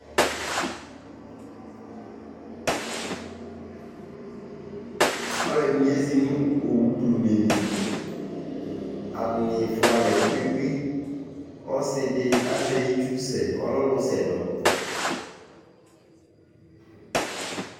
alu ɛdini ezi nu owu blune li, ata ni fʋalɛ kpekpekpe , ɔsidi azɛ itsu sɛ ɔlɛ ɔlu sɛdɔ